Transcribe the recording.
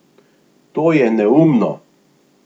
To je neumno!